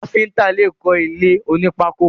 Káfíntà lè kọ ilé oní pákò.